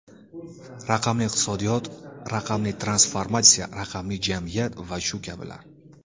Raqamli iqtisodiyot, raqamli transformatsiya, raqamli jamiyat va shu kabilar.